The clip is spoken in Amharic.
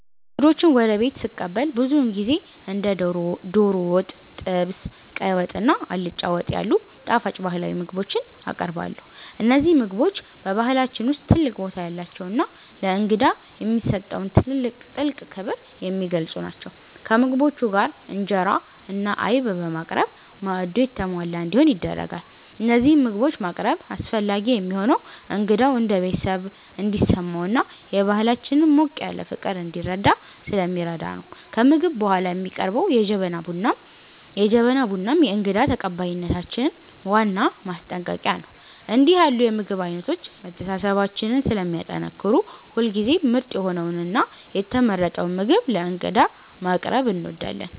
እንግዶችን ወደ ቤት ስቀበል ብዙውን ጊዜ እንደ ዶሮ ወጥ፣ ጥብስ፣ ቀይ ወጥ እና አልጫ ወጥ ያሉ ጣፋጭ ባህላዊ ምግቦችን አቀርባለሁ። እነዚህ ምግቦች በባህላችን ውስጥ ትልቅ ቦታ ያላቸውና ለእንግዳ የሚሰጠውን ጥልቅ ክብር የሚገልጹ ናቸው። ከምግቦቹ ጋር እንጀራ እና አይብ በማቅረብ ማዕዱ የተሟላ እንዲሆን ይደረጋል። እነዚህን ምግቦች ማቅረብ አስፈላጊ የሚሆነው እንግዳው እንደ ቤተሰብ እንዲሰማውና የባህላችንን ሞቅ ያለ ፍቅር እንዲረዳ ስለሚረዳ ነው። ከምግብ በኋላ የሚቀርበው የጀበና ቡናም የእንግዳ ተቀባይነታችን ዋና ማጠናቀቂያ ነው። እንዲህ ያሉ የምግብ አይነቶች መተሳሰባችንን ስለሚያጠናክሩ ሁልጊዜም ምርጥ የሆነውንና የተመረጠውን ምግብ ለእንግዳ ማቅረብ እንወዳለን።